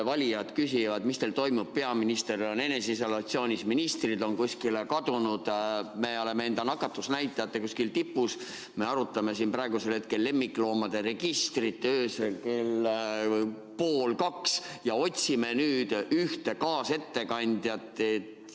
Valijad küsivad, mis teil toimub, peaminister on eneseisolatsioonis, ministrid on kuskile kadunud, me oleme enda nakatumisnäitajatega kuskil tipus, me arutame siin praegusel hetkel öösel kell pool kaks lemmikloomade registrit ja otsime nüüd ühte kaasettekandjat.